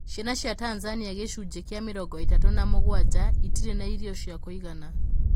Ciana cia Tanzania gichũnjĩ kia mĩrongo ĩtatu na mũgwaja itirĩ na irio cia kũigana